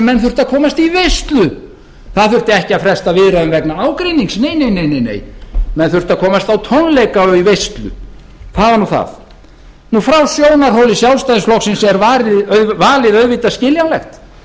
menn þurftu að komast í veislu það þurfti ekki að fresta viðræðum vegna ágreinings nei nei nei menn þurftu að komast á tónleika og í veislu það var nú það frá sjónarhóli sjálfstæðisflokksins er valið auðvitað skiljanlegt